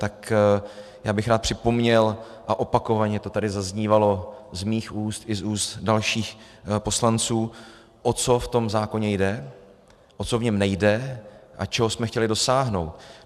Tak já bych rád připomněl, a opakovaně to tady zaznívalo z mých úst i z úst dalších poslanců, o co v tom zákoně jde, o co v něm nejde a čeho jsme chtěli dosáhnout.